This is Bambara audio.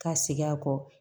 Ka segin a kɔ